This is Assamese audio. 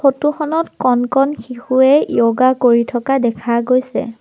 ফটো খনত কণ কণ শিশুৱে য়ৌগা কৰি থকা দেখা গৈছে।